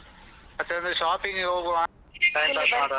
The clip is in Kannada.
ಮತ್ತೆ ಅಂದ್ರೆ shopping ಗೆ ಹೋಗ್ವ .